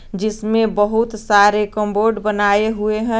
जिसमें बहुत सारे कम्बोड बनाए हुए हैं।